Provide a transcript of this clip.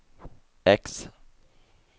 X